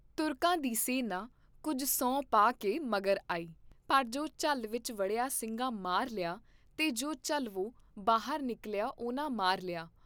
ਤੁਰਕਾਂ ਦੀ ਸੈਨਾ ਕੁੱਝ ਸੂੰਹ ਪਾ ਕੇ ਮਗਰ ਆਈ, ਪਰ ਜੋ ਝੱਲ ਵਿਚ ਵੜਿਆ ਸਿੰਘਾਂ ਮਾਰ ਲਿਆ ਤੇ ਜੋ ਝਲਵੋਂ ਬਾਹਰ ਨਿਕਲਿਆ ਉਹਨਾਂ ਮਾਰ ਲਿਆ।